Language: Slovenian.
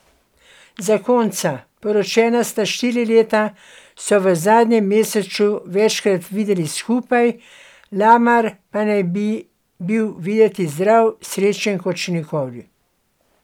Zakonca, poročena sta štiri leta, so v zadnjem mesecu večkrat videli skupaj, Lamar pa naj bi bil videti zdrav in srečen kot še nikoli.